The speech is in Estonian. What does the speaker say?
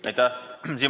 Aitäh!